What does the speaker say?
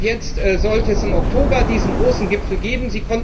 Jetzt sollte es im Oktober diesen großen Gipfel geben.